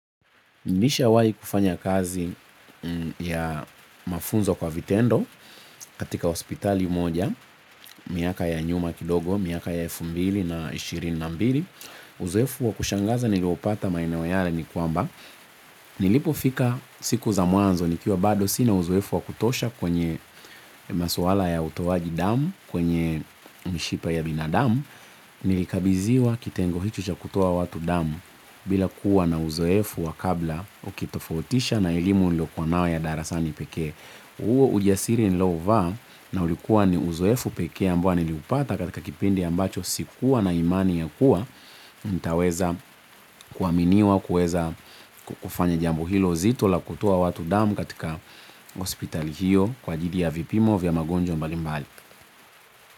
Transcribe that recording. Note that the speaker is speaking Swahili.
Nilishawai kufanya kazi ya mafunzo kwa vitendo katika hospitali moja, miaka ya nyuma kidogo, miaka ya elfu mbili na ishirini na mbili. Uzoefu wa kushangaza niliopata maeneo yale ni kwamba. Nilipo fika siku za mwanzo nikiwa bado sina uzoefu wa kutosha kwenye maswala ya utoaji damu, kwenye mishipa ya binadamu. Nilikabidhiwa kitengo hicho cha kutoa watu damu bila kuwa na uzoefu wa kabla ukitofautisha na elimu nililo kuwa nayo ya darasani pekee. Huo ujasiri nilouvaa na ulikuwa ni uzoefu pekee ambao niliupata katika kipindi ambacho sikuwa na imani ya kuwa nitaweza kuaminiwa kuweza kufanya jambo hilo zito la kutoa watu damu katika hospital hiyo kwa ajili ya vipimo vya magonjwa mbali mbali.